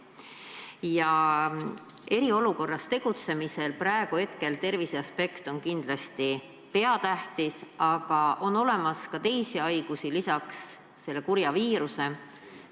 Praeguses eriolukorras tegutsemisel on terviseaspekt kindlasti peatähtis, aga on olemas ka teisi haigusi peale selle kurja viiruse.